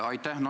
Aitäh!